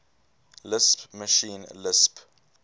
lisp machine lisp